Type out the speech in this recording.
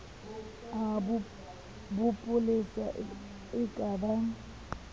a bopolesa e ka ba